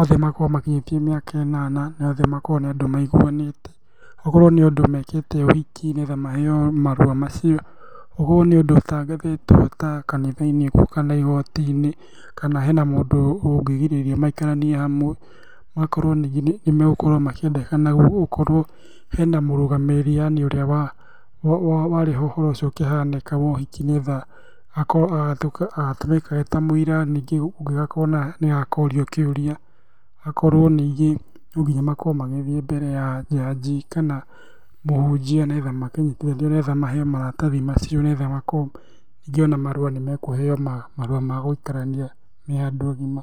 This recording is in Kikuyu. othe makorwo makinyĩtie mĩaka ĩnana, na othe makorwo nĩ andũ maiguanĩte. Okorwo nĩ andũ mekĩte ũhoki, nĩgetha maheo marũa macio, ũkorwo nĩ ũndũ ũtangathĩtwo ta kanitha-inĩ ũguo kana igoti-inĩ, kana hena mũndũ ũngĩgirĩrĩria maikaranie hamwe. Gũgakorwo ningĩ nĩ megũkorwo makĩendekana gũkorwo hena mũrũgamĩrĩrĩ yaani ũrĩa warĩ ho ũhoro ũcio ũkĩhanĩka wa ũhiki, nĩ getha akorwo agatũmĩka eta mũira, ningĩ kũngĩgakorwo nĩwe ũkorio kiũria. Hakorwo ningĩ no nginya makorwo magĩthiĩ mbere ya njanji kana mũhunjia nĩ getha makĩnyitithanio nĩ getha maheo maratathi macio, nĩ getha makorwo ningĩ marũa nĩ mekũheo marũa ma gũikarania me andũ agima.